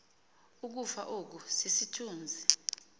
ukufa oku sisithunzi